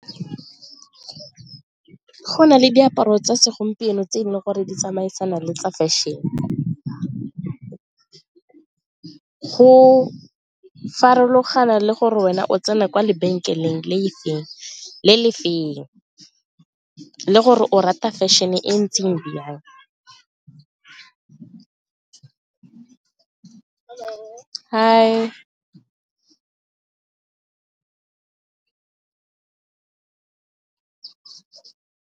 Go na le diaparo tsa segompieno tse e leng gore di tsamaisana le tsa fashion-e go farologana le gore wena o tsena kwa lebenkeleng le le feng le gore o rata fashion-e e ntseng jang .